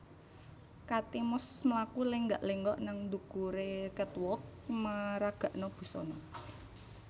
Kate Moss mlaku lenggak lenggok nang ndukure catwalk meragakno busana